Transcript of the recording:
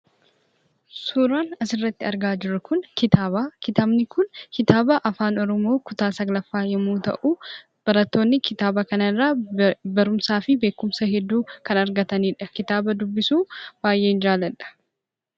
suuraan asirratti argaa jirru kun itaaba. Kitaani kun kitaaba afaan oromoo kutaa 9ffaa yommuu ta'u, barattoonni kitaaba kanarraa barumsaa fi beekumsa argatanidha. Kitaaba kana dubbisuu baay'een jaalladha.